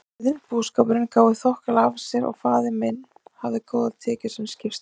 Jörðin og búskapurinn gáfu þokkalega af sér og faðir minn hafði góðar tekjur sem skipstjóri.